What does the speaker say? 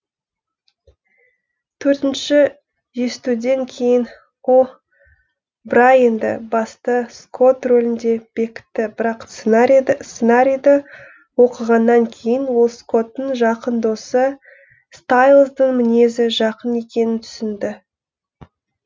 төртініші естуден кейін о брайенді басты скотт рөлінде бекітті бірақ сценарийді оқығаннан кейін ол скоттың жақын досы стайлздың мінезі жақын екенін түсінді